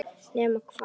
Nema hvað.